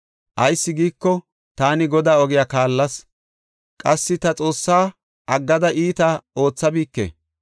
Ayis giiko taani Godaa ogiya kaallas; qassi ta Xoossaa aggada iita oothabike.